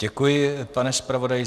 Děkuji, pane zpravodaji.